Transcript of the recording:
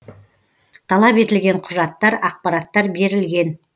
талап етілген құжаттар ақпараттар берілген